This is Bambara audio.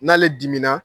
N'ale dimina